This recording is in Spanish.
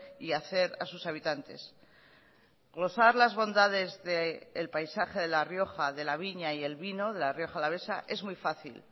y hacer a sus habitantes glosar las bondades del paisaje de la rioja de la viña y el vino de la rioja alavesa es muy fácil